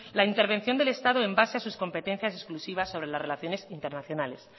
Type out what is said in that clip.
la intervención del estado en base a sus competencias exclusivas sobre la relaciones internacionales